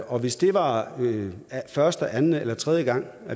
og hvis det var første anden eller tredje gang